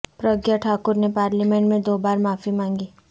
پرگیہ ٹھاکر نے پارلیمنٹ میں دو بار معافی مانگی